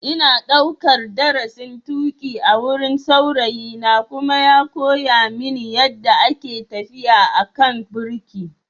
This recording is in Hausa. Ina daukar darasin tuki a wurin saurayina kuma ya koya mini yadda ake tafiya a kan birki.